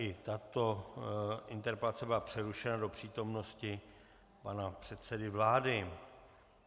I tato interpelace byla přerušena do přítomnosti pana předsedy vlády.